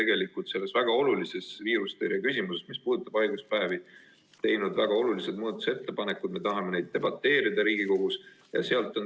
Me oleme selle väga olulise viirusetõrje küsimuse kohta, mis puudutab haiguspäevi, teinud väga olulised muudatusettepanekud ja me tahame nende üle Riigikogus debateerida.